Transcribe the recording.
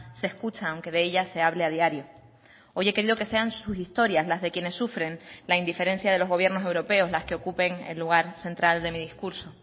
se escucha aunque de ella se hable a diario hoy he querido que sean sus historias las de quienes sufren la indiferencia de los gobiernos europeos las que ocupen el lugar central de mi discurso